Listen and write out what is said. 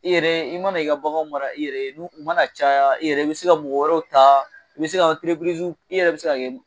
I yɛrɛ i mana i ka baganw mara yɛrɛ i yɛrɛ ye u mana caya yɛrɛ i bɛ se ka mɔgɔ wɛrɛw ta i bɛ se ka i yɛrɛ bɛ se ka kɛ